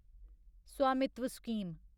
स्वामित्व स्कीम